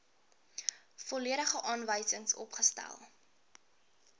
volledige aanwysings opgestel